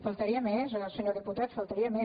faltaria més se·nyor diputat faltaria més